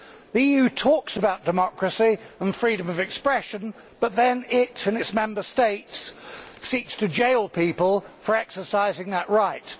The EU talks about democracy and freedom of expression, but then it and its Member States seek to jail people for exercising that right.